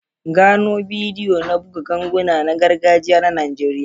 Gano bidiyo na buga ganguna na gargajiya na Najeriya.